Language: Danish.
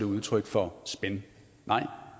udtryk for spin nej